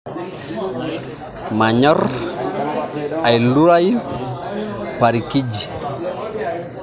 Manyor ailurai parikiji